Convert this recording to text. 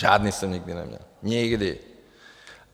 Žádný jsem nikdy neměl, nikdy.